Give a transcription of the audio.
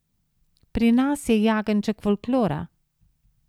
Pri nas je jagenjček folklora.